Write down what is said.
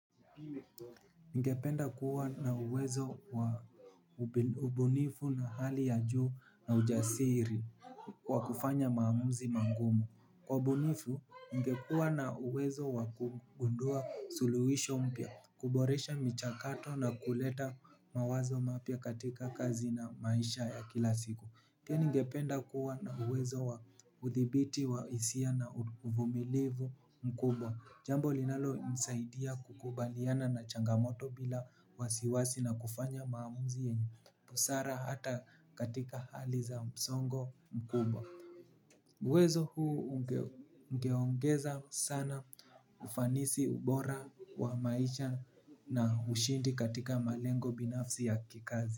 Ningependa kuwa na uwezo wa ubunifu na hali ya juu na ujasiri. Kwa kufanya maamuzi mangumu kwa ubunifu ningekuwa na uwezo wa kugundua suluhisho mpya. Kuboresha michakato na kuleta mawazo mapya katika kazi na maisha ya kila siku pia ningependa kuwa na uwezo wa uthibiti wa hisia na uvumilivu mkubwa. Jambo linalonisaidia kukubaliana na changamoto bila wasiwasi na kufanya maamuzi yenye busara hata katika hali za msongo mkubwa. Uwezo huu ungeongeza sana ufanisi ubora wa maisha na ushindi katika malengo binafsi ya kikazi.